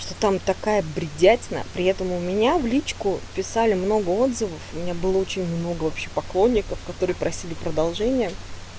что там такая бредятина при этом у меня в личку писали много отзывов у меня было очень много вообще поклонников которые просили продолжения